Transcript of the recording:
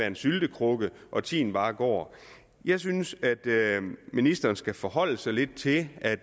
en syltekrukke og at tiden bare går jeg synes at ministeren skal forholde sig lidt til at